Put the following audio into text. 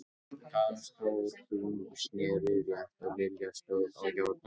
Kata, stór og þung, sneri rétt og Lilla stóð á járnunum.